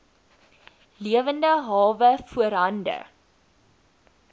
lewende hawe voorhande